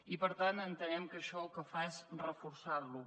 i per tant entenem que això el que fa és reforçar lo